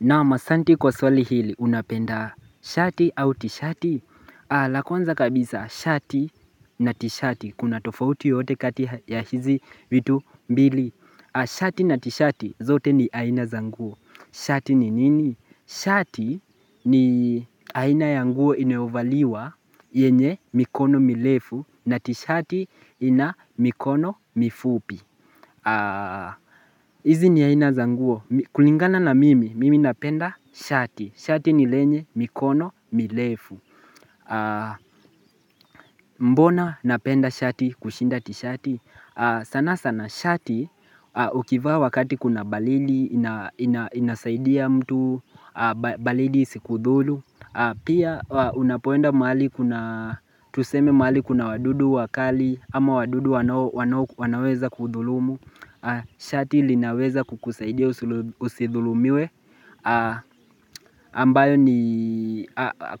Naam asanti kwa swali hili unapenda shati au tishati la kwanza kabisa shati na tishati Kuna tofauti yoyote kati ya hizi vitu mbili Shati na tishati zote ni aina za nguo Shati ni nini? Shati ni aina ya nguo inovaliwa yenye mikono milefu na tishati ina mikono mifupi hizi ni aina za nguo kulingana na mimi, mimi napenda shati. Shati ni lenye, mikono, milefu. Mbona napenda shati kushinda tishati? Sana sana shati ukivaa wakati kuna balidi inasaidia mtu, balidi isikudhulu Pia unapoenda mahali kuna tuseme mahali kuna wadudu wakali ama wadudu wanaweza kudhulumu Shati linaweza kukusaidia usidhulumiwe ambayo ni